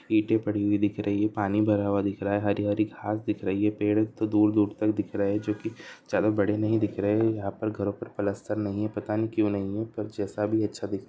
ईंटे पड़ी हुई दिख रही हैं पानी भरा हुआ दिख रहा है हरी-हरी घास दिख रही है पेड़ तो दूर-दूर तक दिख रहे हैं जो कि चारो बड़े नहीं ही दिख रहे यहाँ पर घरों पर प्लास्टर नहीं है पता नहीं क्यों नहीं है पर जैसा भी है अच्छा दिख --